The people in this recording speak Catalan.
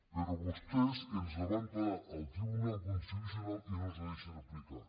però vostès ens la van parar al tribunal constitucional i no ens la deixen aplicar